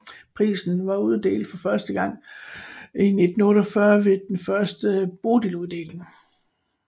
Prisen blev uddelt for første gang i 1948 ved den første Bodiluddeling